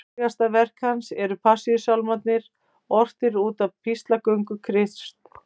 Frægasta verk hans eru Passíusálmarnir, ortir út af píslarsögu Krists.